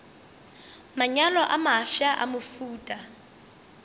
manyalo a mafsa a mohuta